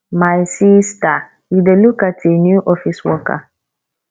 my sister you dey look at a new office worker